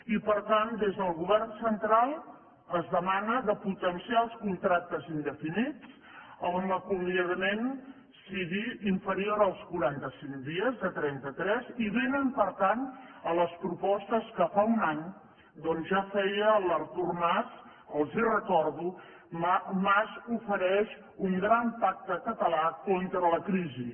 i per tant des del govern central es demana de potenciar els contractes indefinits on l’acomiadament sigui inferior als quaranta cinc dies de trenta tres i vénen per tant a les propostes que fa un any ja feia l’artur mas els ho recordo mas ofereix un gran pacte català contra la crisi